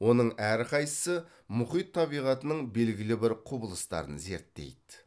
оның әрқайсысы мұхит табиғатының белгілі бір құбылыстарын зерттейді